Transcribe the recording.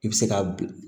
I bɛ se ka bil